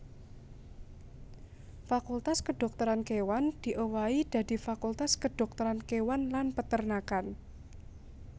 Fakultas Kedhokteran Kéwan diowahi dadi Fakultas Kedhokteran Kéwan lan Peternakan